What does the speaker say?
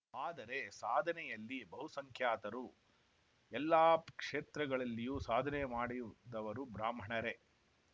ಆದರೆ ಸಾಧನೆಯಲ್ಲಿ ಬಹುಸಂಖ್ಯಾತರು ಎಲ್ಲಾ ಕ್ಷೇತ್ರಗಳಲ್ಲಿಯೂ ಸಾಧನೆ ಮಾಡಿದವರು ಬ್ರಾಹ್ಮಣರೇ